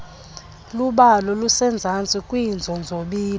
khubalo lisezantsi kwiinzonzobila